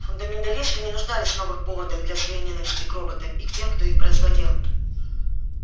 фундаменталисты не нуждались в новых поводах для своей ненависти к роботам и к тем кто их производил